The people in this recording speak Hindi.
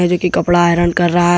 ये जो कि कपड़ा आयरन कर रहा है।